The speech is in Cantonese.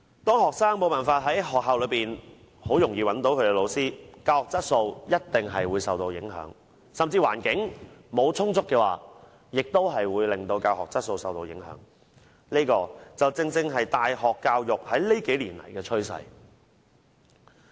當學生無法在學校很容易地找到老師，教學質素一定會受到影響，如果沒有充足的教育資源，亦會令教學質素受到影響，這正正是大學教育在這數年的趨勢。